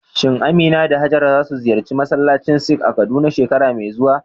Shin Amina da Hajara za su ziyarci masallacin Sikh a Kaduna shekara mai zuwa?